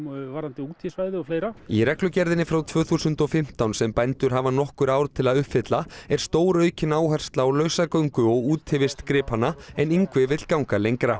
eldisgrísum varðandi útisvæði og fleira í reglugerðinni frá tvö þúsund og fimmtán sem bændur hafa nokkur ár til að uppfylla er stóraukin áhersla á lausagöngu og útivist gripanna en Ingvi vill ganga lengra